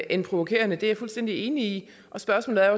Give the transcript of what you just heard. end provokerende det er jeg fuldstændig enig i spørgsmålet er